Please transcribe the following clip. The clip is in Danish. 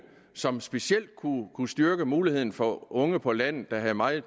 som specielt kunne styrke muligheden for unge på landet hvor der er meget